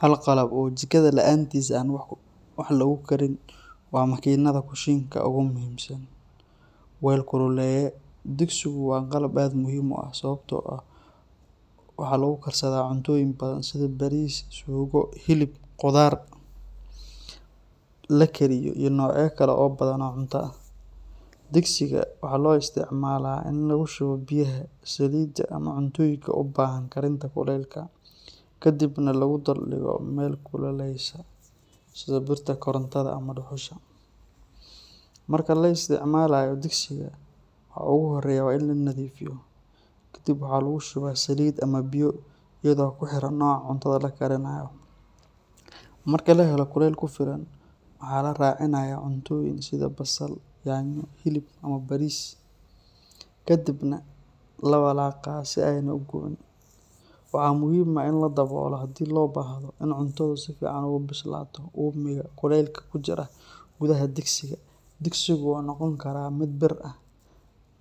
Hal qalab oo jikada la’aantiis aan wax lagu karin waa makiinada kushiinka ugu muhiimsan: weel kululeeye. Digsigu waa qalab aad muhiim u ah, sababtoo ah waxa lagu karsadaa cuntooyin badan sida bariis, suugo, hilib, khudaar la kariyay iyo noocyo kale oo badan oo cunto ah. Digsiga waxaa loo isticmaalaa in lagu shubo biyaha, saliidda, ama cuntooyinka u baahan karinta kulaylka, ka dibna lagu dul dhigo meel kuleylaysa sida birta korontada ama dhuxusha. Marka la isticmaalayo digsiga, waxa ugu horeeya waa in la nadiifiyo. Kadib waxaa lagu shubaa saliid ama biyo iyadoo kuxiran nooca cuntada la karinayo. Marka la helo kulayl ku filan, waxa la raacinayaa cuntooyinka sida basal, yaanyo, hilib ama bariis, kadibna la walaaqaa si aanay u gubin. Waxaa muhiim ah in la daboolo haddii loo baahdo in cuntadu si fiican ugu bislaato uumiga kulaylka ku jira gudaha digsiga. Digsigu wuxuu noqon karaa mid bir ah,